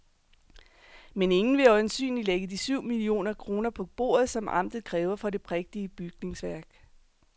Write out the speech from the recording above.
Men ingen vil øjensynligt lægge de syv millioner kroner på bordet, som amtet kræver for det prægtige bygningsværk.